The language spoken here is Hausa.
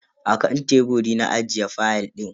Akan teburi na ajiye fayal din.